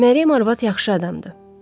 Məryəm arvad yaxşı adamdır.